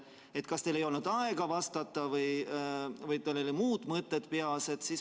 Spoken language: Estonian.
Teil kas ei olnud aega vastata või teil olid muud mõtted peas.